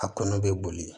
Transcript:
A kɔnɔ be boli